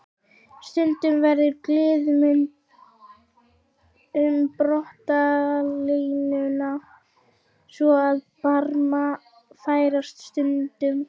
Stundum verður gliðnun um brotalínuna svo að barmar færast sundur.